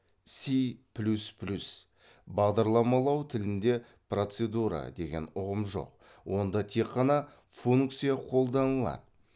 си плюс плюс бағдарламалау тілінде процедура деген ұғым жоқ онда тек қана функция қолданылады